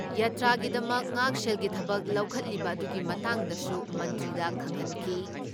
ꯌꯥꯇ꯭ꯔꯥꯒꯤꯗꯃꯛ ꯉꯥꯛꯁꯦꯜꯒꯤ ꯊꯕꯛ ꯂꯧꯈꯠꯂꯤꯕ ꯑꯗꯨꯒꯤ ꯃꯇꯥꯡꯗꯁꯨ ꯃꯟꯇ꯭ꯔꯤꯗ ꯈꯪꯍꯟꯈꯤ ꯫